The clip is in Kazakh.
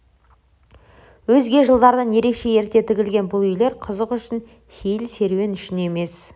өзге жылдардан ерекше ерте тігілген бұл үйлер қызық үшін сейіл-серуен үшін емес